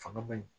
Fanga ma ɲi